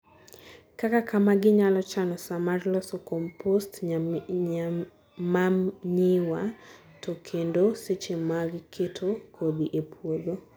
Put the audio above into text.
kaka kamaa, ginyalo chano saa mar loso composed manyiwa to kendo seche mag keto kodhi ei puodho